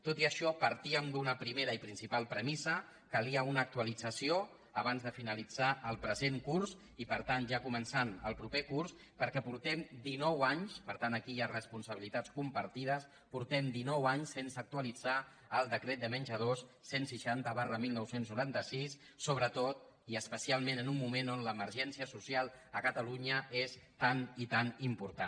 tot i això partíem d’una primera i principal premissa calia una actualització abans de finalitzar el present curs i per tant ja començant el proper curs perquè portem dinou anys per tant aquí hi ha responsabili·tats compartides sense actualitzar el decret de men·jadors cent i seixanta dinou noranta sis sobretot i especialment en un mo·ment on l’emergència social a catalunya és tan i tan important